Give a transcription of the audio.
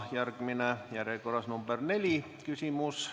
Järgmine, järjekorras 4. küsimus.